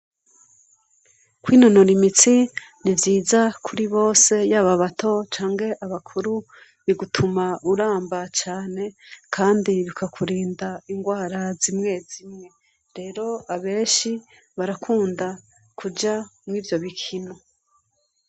Kwinonora imitsi ni vyiza kuri bose yaba abato canke abakuru. Bigutuma uramba cane kandi bikakurinda ingwara zimwe zimwe rero benshi barakunda kuja mwivyo bikino.